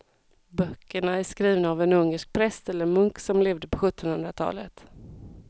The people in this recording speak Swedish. Böckerna är skrivna av en ungersk präst eller munk som levde på sjuttonhundratalet.